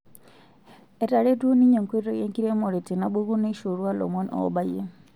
Etaretuo ninye nkoitoi enkiremore tenabuku neishorua lomon obayie.